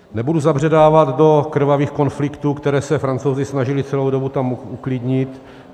Nebudu zabředávat do krvavých konfliktů, které se Francouzi snažili celou dobu tam uklidnit.